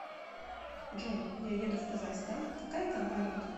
джой я еду в казахстан какая там валюта